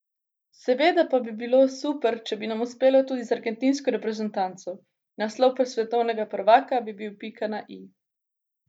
Seveda pa bi bilo super, če bi nam uspelo tudi z argentinsko reprezentanco, naslov svetovnega prvaka bi bil pika na i.